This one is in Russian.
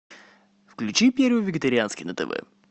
включи первый вегетарианский на тв